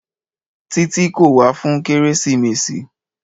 Títí kò wá fún kérésìmesì.